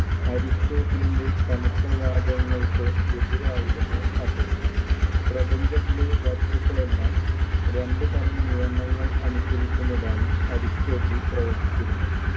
അരിസ്റ്റോട്ടിലിന്‍റെ കനത്തവാദങ്ങൾക്ക് എതിരായിരുന്നു അത്. പ്രപഞ്ചത്തിലെ വസ്തുക്കളെല്ലാം രണ്ടുതരം നിയമങ്ങൾ അനുസരിക്കുന്നതായി അരിസ്റ്റോട്ടിൽ പ്രവചിച്ചിരുന്നു.